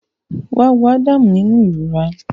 Wá wo Adam nínú ìrora